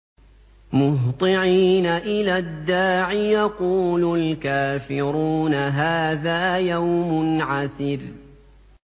مُّهْطِعِينَ إِلَى الدَّاعِ ۖ يَقُولُ الْكَافِرُونَ هَٰذَا يَوْمٌ عَسِرٌ